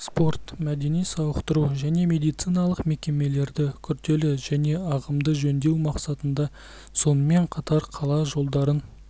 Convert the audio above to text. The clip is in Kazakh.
спорт мәдени сауықтыру және медициналық мекемелерді күрделі және ағымдық жөндеу мақсатында сонымен қатар қала жолдарын